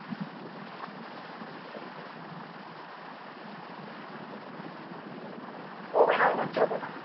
হবে না মনে হচ্ছে অতটা?